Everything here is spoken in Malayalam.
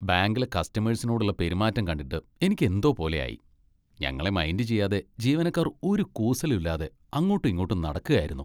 ബാങ്കിലെ കസ്റ്റമേഴ്സിനോടുള്ള പെരുമാറ്റം കണ്ടിട്ട് എനിക്ക് എന്തോ പോലെ ആയി. ഞങ്ങളെ മൈൻഡ് ചെയ്യാതെ ജീവനക്കാർ ഒരു കൂസലും ഇല്ലാതെ അങ്ങോട്ടും ഇങ്ങോട്ടും നടക്കുകയായിരുന്നു.